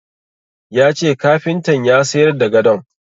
Ya ce kafintan ya sayar da gadon.